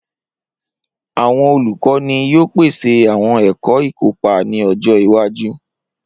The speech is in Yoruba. Awọn olukọni yoo pese awọn ẹkọ ikopa ni ọjọ iwaju.